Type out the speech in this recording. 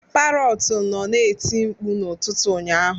Parọtu nọ na-eti mkpu n'ụtụtụ ụnyaahụ